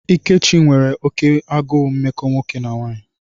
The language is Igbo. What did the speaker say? Ikechi n'enwe oke agụụ mmekọ nwoke na nwanyị.